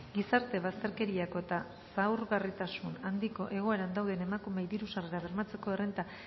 gizarte bazterkeriako eta zaurgarritasun handiko egoeran dauden emakumeei diru sarrerak bermatzeko errenta